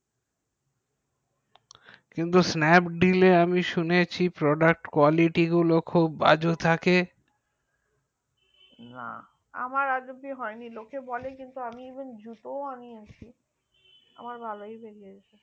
কিন্তু snapdeal এ আমি শুনেছি product quality গুলো বাজে থেকে না আমার এখনো হয়নি লোকে বলে কিন্তু আমার ভালোই বেরিয়েছে